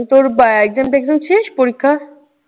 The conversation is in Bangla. তোর exam ট্যাক্সাম শেষ পরীক্ষার?